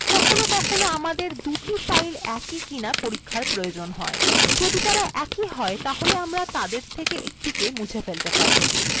কখনও কখনও আমাদের দুটি files একই কিনা পরীক্ষার প্রয়োজন হয় যদি তারা একই হয় তাহলে আমরা তাদের থেকে একটা কে মুছে ফেলতে পারি